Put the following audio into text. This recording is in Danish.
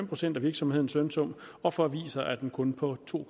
procent af virksomhedens lønsum og for aviser er den kun på to